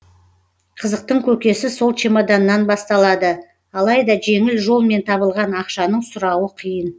қызықтың көкесі сол чемоданнан басталады алайда жеңіл жолмен табылған ақшаның сұрауы қиын